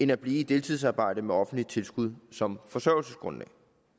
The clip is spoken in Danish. at blive i et deltidsarbejde med offentlig tilskud som forsørgelsesgrundlag